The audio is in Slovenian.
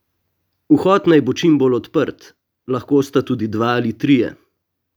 Vhod naj bo čim bolj odprt, lahko sta tudi dva ali trije.